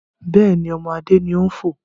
Bẹ́ẹ̀ni, ọmọ Adé ni ó ń fò